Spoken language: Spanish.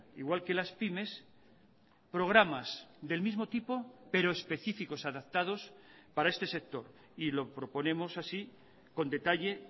igual que las pymes programas del mismo tipo pero específicos adaptados para este sector y lo proponemos así con detalle